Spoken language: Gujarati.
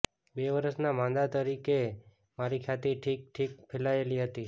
બે વરસના માંદા તરીકે મારી ખ્યાતિ ઠીક ઠીક ફેલાયેલી હતી